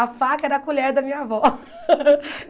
A faca era a colher da minha avó.